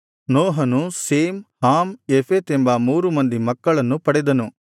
ನೋಹನು Shem Ham Japheth ಎಂಬ ಮೂರು ಮಂದಿ ಮಕ್ಕಳನ್ನು ಪಡೆದನು